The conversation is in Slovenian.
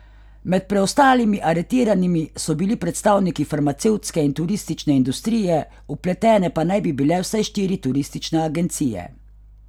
Med preostalimi aretiranimi so bili predstavniki farmacevtske in turistične industrije, vpletene pa naj bi bile vsaj štiri turistične agencije.